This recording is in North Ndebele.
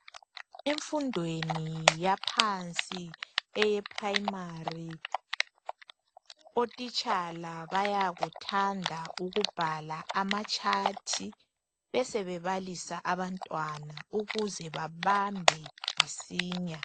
Emfundweni yaphansi eye primary otitshala bayakuthanda ukubhala ama tshathi besebebalisa abantwana ukuze bebambe masinya.